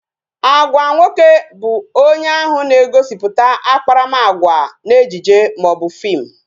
Agwa nwoke bu onye ahụ na-egosiputa akparamagwa n'ejije maọbu fim